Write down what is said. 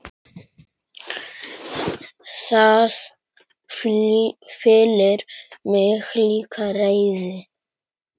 Það fyllir mig líka reiði.